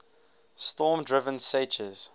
storm driven seiches